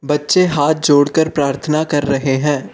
बच्चे हाथ जोड़कर प्रार्थना कर रहे हैं।